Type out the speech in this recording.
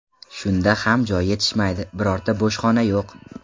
Shunda ham joy yetishmaydi, birorta bo‘sh xona yo‘q.